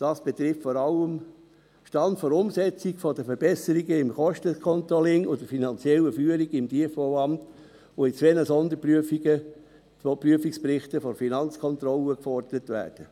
Dies betrifft vor allem den Stand der Umsetzung der Verbesserungen im Kosten-Controlling und der finanziellen Führung im Tiefbauamt, die in zwei Sonderprüfungsberichten der Finanzkontrolle gefordert werden;